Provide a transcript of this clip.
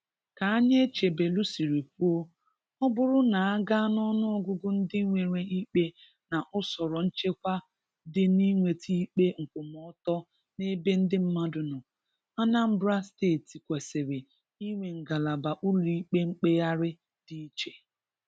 Ka Anyaechebelu sịrị kwụọ, ọ bụrụ na a gaa n'ọnụọgụgụ ndị nwere ikpe na ụsọrọ nchekwa dị n'inweta ikpe nkwụmọtọ n'ebe ndi mmadu nọ, Anambra steeti kwesịrị inwe ngalaba ụlọikpe mkpegharị dị iche.